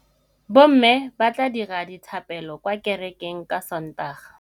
Bommê ba tla dira dithapêlô kwa kerekeng ka Sontaga.